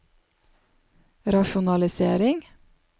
rasjonalisering